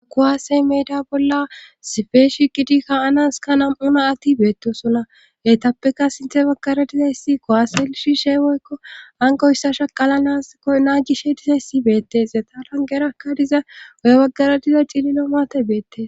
Kuwaasey meeda bolla sifeshi gidikka7anaska nam7una atti beettosonna heytappeka sinthe baggara dizayssi kowaase lishi she woykko angoyssa shaqala ao naa gishe dizayssi beettees ya tarangeraka diza woy baggara diza cillino maate beettee.